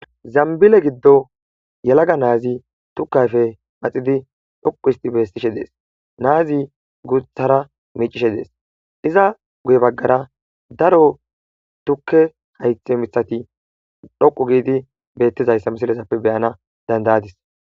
Zambbile giddo yalaga naazi tukka ayfe maxidi dhoqqu histi beessishe dees. Naazi guuthara miicishe dees. Iza guye baggara daro tukke haythe mithati dhoqu giidi beettizayssa misilezappe be7ana danda7adis.